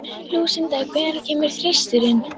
Lúsinda, hvenær kemur þristurinn?